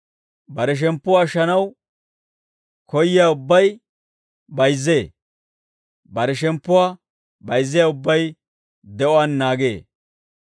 Bare shemppuwaa ashshanaw koyyiyaa ubbay, bayizzee; bare shemppuwaa bayizziyaa ubbay, de'uwaan naagee.